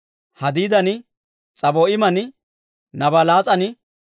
Hadiidan, S'abo'iiman, Nabalaas'an